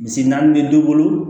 Misi naani bɛ dɔ bolo